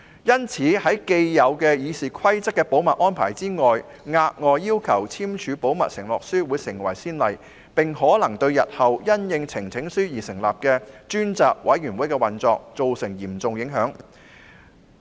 因此，在《議事規則》既有的保密安排下，額外要求議員簽署保密承諾書會成為先例，可能對日後因應呈請書而成立的專責委員會的運作造成影響。